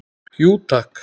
Jú takk